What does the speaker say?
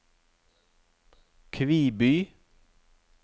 Kviby